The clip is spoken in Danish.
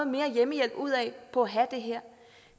mere hjemmehjælp ud af på at have det her